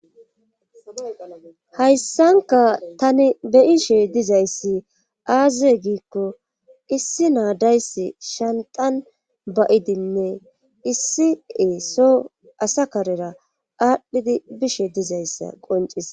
hayssanka tani be ishe dizayssi aaze giikko issi naadayssi shantan ba7idinne issi e so asa karera aadhdhidi bishe dizayssa qoncis